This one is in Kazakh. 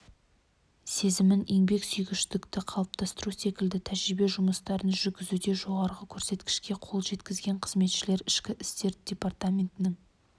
сезімін еңбексүйгіштікті қалыптастыру секілді тәрбие жұмыстарын жүргізуде жоғарғы көрсеткішке қол жеткізген қызметкер ішкі істер департаментінің